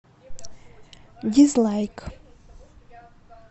дизлайк